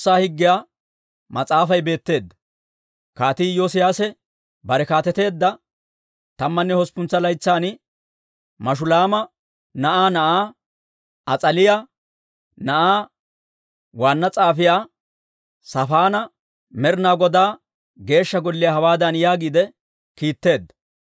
Kaatii Iyoosiyaase bare kaateteedda tammanne hosppuntsa laytsan, Mashulaama na'aa na'aa, As'aaliyaa na'aa, waanna s'aafiyaa Saafaana Med'ina Godaa Geeshsha Golliyaa hawaadan yaagiide kiitteedda;